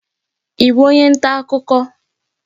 Ị bụ onye nta akụkọ?